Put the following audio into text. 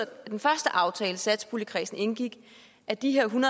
af den første aftale satspuljekredsen indgik at de her en